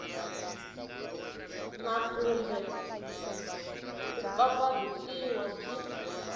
na kumbe ku pfapfarhutiwa byi